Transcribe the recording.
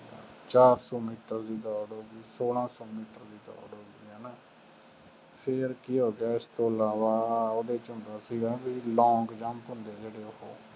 ਚਾਰ ਸੌ ਮੀਟਰ ਦੀ ਦੌੜ ਹੋ ਗਈ, ਸੋਲਾਂ ਸੌ ਮੀਟਰ ਦੀ ਦੌੜ ਹੋ ਗਈ ਹੈ ਨਾ ਫੇਰ ਕੀ ਹੋ ਗਿਆ ਇਸ ਤੋਂ ਇਲਾਵਾ ਉਹਦੇ ਚ ਹੁੰਦਾ ਸੀਗਾ ਬਈ long jump ਹੁੰਦੇ ਸੀਗੇ ਉਹ,